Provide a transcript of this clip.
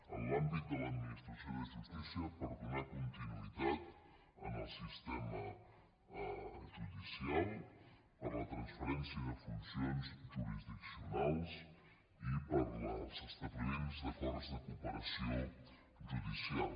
en l’àmbit de l’administració de justícia per donar continuïtat al sistema judicial per a la transferència de funcions jurisdiccionals i per a l’establiment d’acords de cooperació judicial